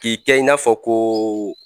K'i tɛ i n'a fɔ ko